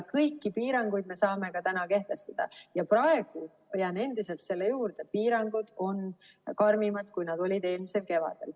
Kõiki piiranguid me saame ka täna kehtestada ja praegu ma jään endiselt selle juurde, et piirangud on karmimad, kui nad olid eelmisel kevadel.